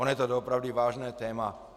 Ono je to doopravdy vážné téma.